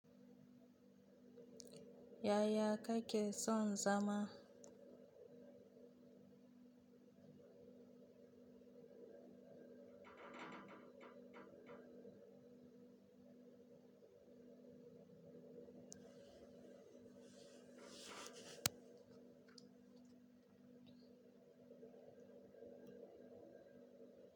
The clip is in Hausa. Yaya ka kake son zama?